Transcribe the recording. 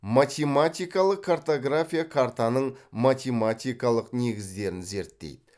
математикалық картография картаның математикалық негіздерін зерттейді